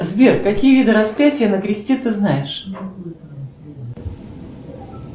сбер какие виды распятия на кресте ты знаешь